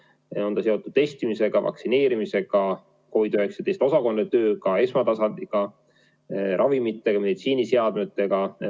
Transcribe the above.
See on ka seotud testimisega, vaktsineerimisega, COVID-19 osakondade tööga, esmatasandiga, ravimitega, meditsiiniseadmetega.